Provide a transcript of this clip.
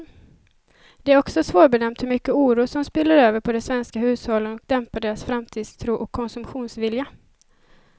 Det är också svårbedömt hur mycket oro som spiller över på de svenska hushållen och dämpar deras framtidstro och konsumtionsvilja.